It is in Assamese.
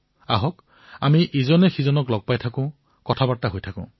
আহক আমি লগ হও কথা পাতি থাকো